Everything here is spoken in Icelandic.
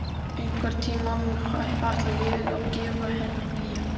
Einhvern tímann ætla ég að gefa henni nýja.